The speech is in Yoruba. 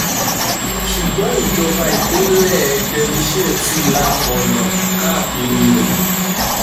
ṣùgbọ́n ìjọba ìpínlẹ̀ derbyshire ti la ọ̀nà káàkiri rẹ̀